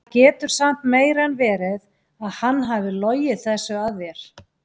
En það getur samt meira en verið að hann hafi logið þessu að þér.